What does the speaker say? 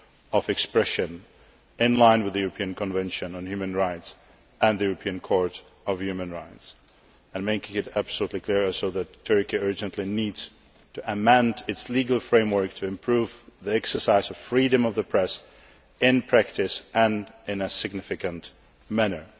of expression in line with the European Convention on Human Rights and the European Court of Human Rights, and to make it absolutely clear that Turkey urgently needs to amend its legal framework to improve the exercise of freedom of the press both in practice, and in a significant manner.